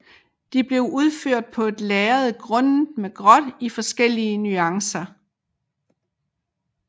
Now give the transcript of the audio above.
De blev udført på et lærred grundet med gråt i forskellige nuancer